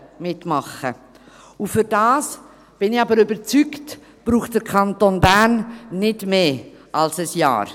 – Und dafür, davon bin ich aber überzeugt, braucht der Kanton Bern nicht mehr als ein Jahr.